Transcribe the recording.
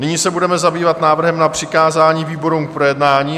Nyní se budeme zabývat návrhem na přikázání výborům k projednání.